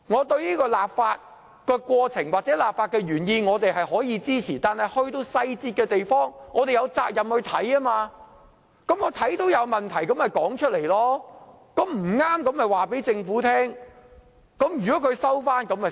對於立法的過程或立法的原意，我們可予以支持，但在細節上，我們有責任要審閱，看到有問題便說出來，將錯誤的地方告訴政府。